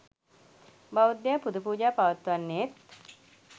බෞද්ධයා පුද පූජා පවත්වන්නේත්,